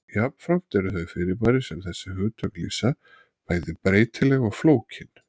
Jafnframt eru þau fyrirbæri sem þessi hugtök lýsa bæði breytileg og flókin.